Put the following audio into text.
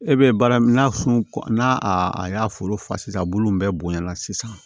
E bɛ baara min na sun n'a a y'a foro fa a bulu bɛɛ bonyana sisan